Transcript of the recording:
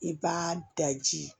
I b'a daji